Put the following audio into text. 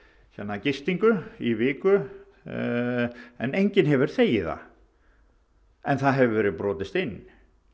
gistingu í viku en enginn hefur þegið það en það hefur verið brotist inn